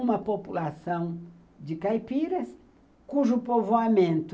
Uma população de caipiras, cujo povoamento